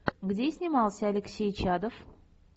где снимался алексей чадов